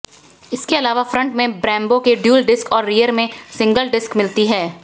इसके अलावा फ्रंट में ब्रेम्बो की डुअल डिस्क और रियर में सिंगल डिस्क मिलती है